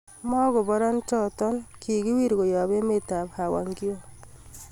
Makobora choton kukiwir koyob emet ab Hwangju